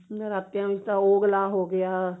ਨਰਾਤਿਆਂ ਵਿੱਚ ਤਾਂ ਉਘਲਾ ਹੋ ਗਿਆ